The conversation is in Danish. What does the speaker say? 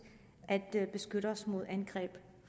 at beskytte os mod angreb